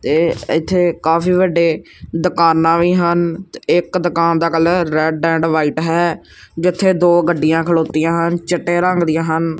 ਤੇ ਇੱਥੇ ਕਾਫੀ ਵੱਡੇ ਦੁਕਾਨਾਂ ਵੀ ਹਨ ਇੱਕ ਦੁਕਾਨ ਦਾ ਕਲਰ ਰੈੱਡ ਐਂਡ ਵ੍ਹਾਈਟ ਹੈ ਜਿੱਥੇ ਦੋ ਗੱਡੀਆਂ ਖਲਾਉੱਤੀਆਂ ਹਨ ਚਿੱਟੇ ਰੰਗ ਦੀਆਂ ਹਨ।